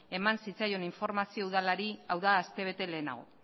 eman zitzaion informazio udalari hau da aste bete lehenago